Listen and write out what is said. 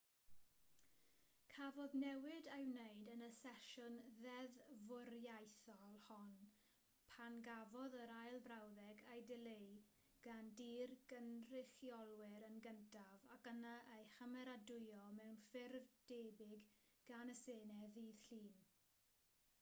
cafodd newid ei wneud yn y sesiwn ddeddfwriaethol hon pan gafodd yr ail frawddeg ei dileu gan dŷ'r cynrychiolwyr yn gyntaf ac yna ei chymeradwyo mewn ffurf debyg gan y senedd ddydd llun